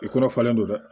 I kɔrɔfalen do dɛ